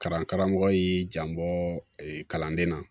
Kalan karamɔgɔ y'i janbɔ kalanden na